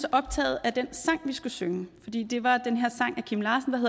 optaget af den sang vi skulle synge fordi det var den her sang af kim larsen